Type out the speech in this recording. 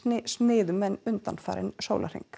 sniðum en undanfarinn sólarhring